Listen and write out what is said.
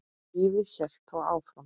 Lífið hélt þó áfram.